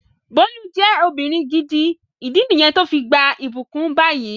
Bólú je ọmọbìnrin gidi, ìdí niyen to fi gbà ibukun bayi